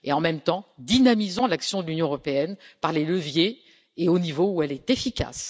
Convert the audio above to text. En même temps, dynamisons l'action de l'Union européenne par les leviers et au niveau où elle est efficace.